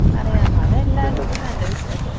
അറിയാം അത് എല്ലായിരിലും ഉണ്ടെന്നാ എന്റെ വിശ്വാസം.